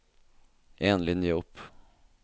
En linje opp